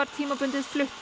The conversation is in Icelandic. tímabundið